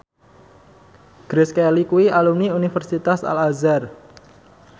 Grace Kelly kuwi alumni Universitas Al Azhar